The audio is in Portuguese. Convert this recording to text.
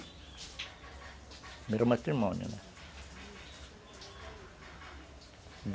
No primeiro matrimônio, né?